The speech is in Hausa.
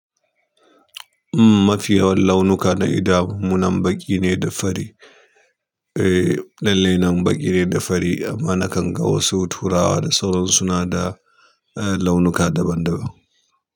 Umm, mafi yawan launuka na gida munan baƙi ne da fari. Eh, lalle nan baƙi ne da fari amma nakan ga wasu turawa da sauran su na da launuka daban-daban.